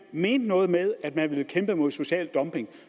mente noget med at man vil kæmpe mod social dumping